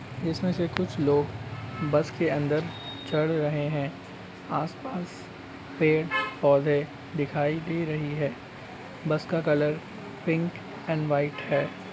जिसमें से कुछ लोग बस के अंदर चढ़ रहे हैं आस-पास पेड़ पौधे दिखाई दे रही हैं बस का कलर पिंक एंड वाइट है।